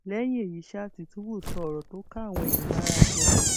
lẹyìn èyí ṣáà tìtúbù sọ ọrọ tó ká àwọn èèyàn lára ganan